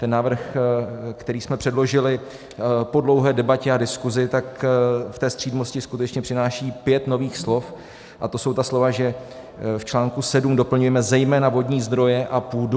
Ten návrh, který jsme předložili po dlouhé debatě a diskuzi, tak v té střídmosti skutečně přináší pět nových slov, a to jsou ta slova, že v článku 7 doplňujeme zejména vodní zdroje a půdu.